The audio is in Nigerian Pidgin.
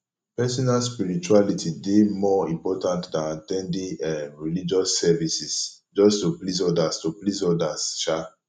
personal spirituality dey more important than at ten ding um religious services just to please odas to please odas um